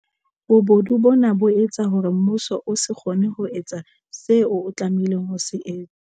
Bobodu bona bo etsa hore mmuso o se kgone ho etsa seo o tlameha ho se etsa.